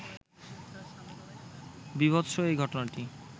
বীভৎস এই ঘটনাটি